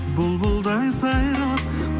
бұлбұлдай сайрап